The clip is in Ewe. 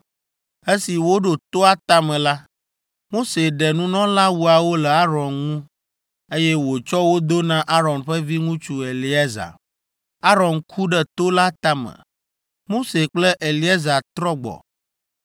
Esi woɖo toa tame la, Mose ɖe nunɔlawuawo le Aron ŋu, eye wòtsɔ wo do na Aron ƒe viŋutsu Eleazar. Aron ku ɖe to la tame. Mose kple Eleazar trɔ gbɔ,